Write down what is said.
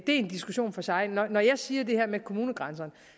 en diskussion for sig når jeg siger det her med kommunegrænserne